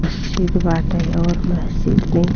मस्जिद बाटे और मस्जिद भी --